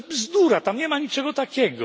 To jest bzdura tam nie ma niczego takiego.